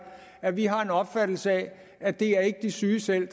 at vi har en opfattelse af at det ikke er de syge selv